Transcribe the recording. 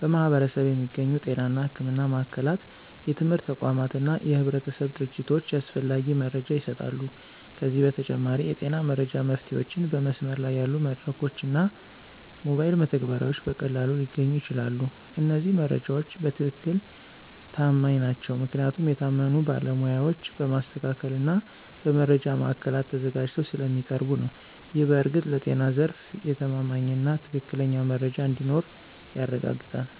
በማኅበረሰብ የሚገኙ ጤና እና ሕክምና ማዕከላት፣ የትምህርት ተቋማት እና የህብረተሰብ ድርጅቶች ያስፈላጊ መረጃ ይሰጣሉ። ከዚህ በተጨማሪ፣ የጤና መረጃ መፍትሄዎችን በመስመር ላይ ያሉ መድረኮች እና ሞባይል መተግበሪያዎች በቀላሉ ሊገኙ ይችላሉ። እነዚህ መረጃዎች በትክክል ተማማኝ ናቸው ምክንያቱም የታመኑ ባለሞያዎች በማስተካከል እና በመረጃ ማዕከላት ተዘጋጅተው ስለሚያቀርቡ ነው። ይህ በእርግጥ ለጤና ዘርፍ የተማማኝና ትክክለኛ መረጃ እንዲኖር ያረጋግጣል።